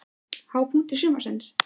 Hápunktur sumarsins?